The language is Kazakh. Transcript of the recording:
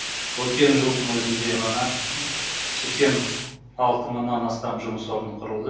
өткен жылдың өзінде ғана сексен алты мыңнан астам жұмыс орны құрылды